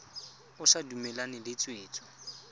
o sa dumalane le tshwetso